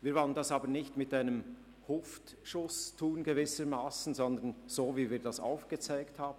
Wir wollen dies aber nicht mit «einem Schuss aus der Hüfte» tun, sondern so, wie wir das aufgezeigt haben.